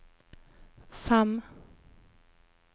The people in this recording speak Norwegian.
fem